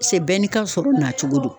Se bɛɛ ni ka sɔrɔ nacogo do